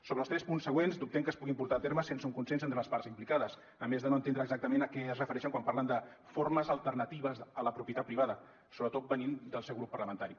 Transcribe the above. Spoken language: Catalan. sobre els tres punts següents dubtem que es puguin portar a terme sense un consens entre les parts implicades a més de no entendre exactament a què es refereixen quan parlen de formes alternatives a la propietat privada sobretot venint del seu grup parlamentari